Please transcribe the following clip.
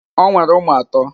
O nwere ụmụ atọ?